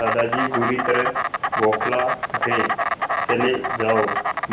दादाजी बुरी तरह बौखला उठे चले जाओ